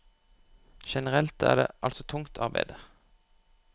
Generelt er det altså tungt arbeide.